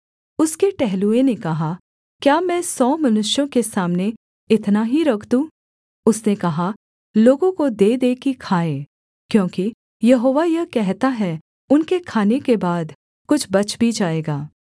उसके टहलुए ने कहा क्या मैं सौ मनुष्यों के सामने इतना ही रख दूँ उसने कहा लोगों को दे दे कि खाएँ क्योंकि यहोवा यह कहता है उनके खाने के बाद कुछ बच भी जाएगा